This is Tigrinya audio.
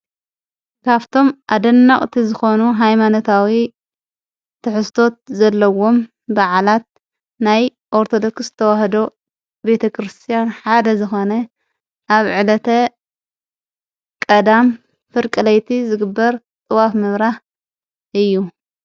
ካፍቶም ኣደናቝ እቲ ዝኾኑ ሃይማነታዊ ትሕስቶት ዘለዎም በዓላት ናይ ወርተለክስ ተዉሃዶ ቤተ ክርስቲያን ሓደ ዝኾነ ኣብ ዕለተ ቀዳም ፍርቀለይቲ ዝግበር ጥዋፍ ምብራህ እዩ።